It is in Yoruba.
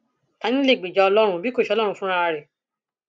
ta ní lè gbèjà ọlọrun bí kò ṣe ọlọrun fúnra rẹ